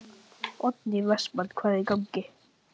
Oddný Vestmann: Hvað er í gangi?